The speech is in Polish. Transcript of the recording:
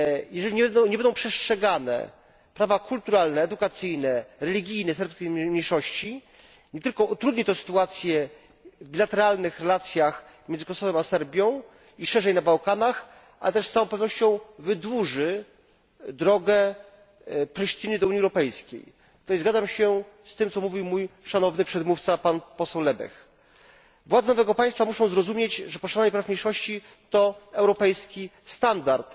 Jeżeli nie będą przestrzegane prawa kulturalne, edukacyjne i religijne serbskiej mniejszości, nie tylko utrudni to sytuację w bilateralnych relacjach między Kosowem a Serbią i szerzej na Bałkanach, ale też z całą pewnością wydłuży drogę Prisztiny do Unii Europejskiej. Zgadzam się z tym, co mówił mój szanowny przedmówca, pan poseł Lebech. Władze tego państwa muszą zrozumieć, że przestrzeganie praw mniejszości to europejski standard.